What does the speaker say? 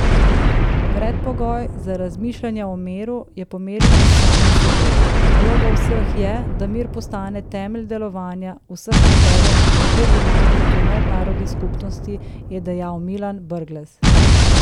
Predpogoj za razmišljanja o miru je pomirjenost s samim seboj, naloga vseh je, da mir postane temelj delovanja vseh akterjev tako doma kot v mednarodni skupnosti, je dejal Milan Brglez.